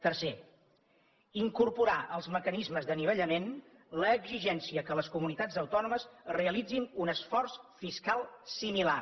tercer incorporar als mecanismes d’anivellament l’exigència que les comunitats autònomes realitzin un esforç fiscal similar